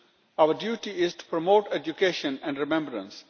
Out duty is to promote education and remembrance.